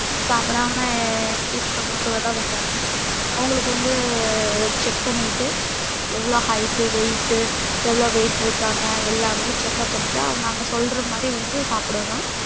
சாப்டாம empty stomach ல தான் வந்தாங்க அவங்களுக்கு வந்து check பண்ணிட்டு எவ்ளோ height weight எவ்ளோ weight இருக்காங்க எல்லாமே check up பண்ணிட்டு அவங்க அங்க சொல்றமாறி வந்து சாப்டனும்